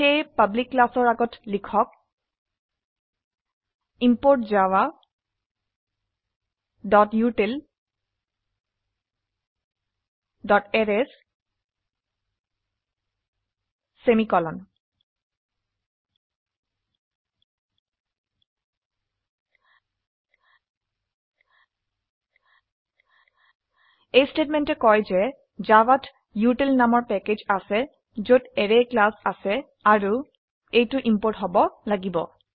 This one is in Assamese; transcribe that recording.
সেয়ে পাবলিক ক্লাসৰ আগত লিখক ইম্পোৰ্ট javautilএৰেইছ সেমিকোলন এই স্টেটমেন্টে কয় যে জাভাত উটিল নামৰ প্যাকেজ আছে যত অ্যাৰে ক্লাস আছে আৰু এইটো ইম্পোৰ্ট হব লাগিব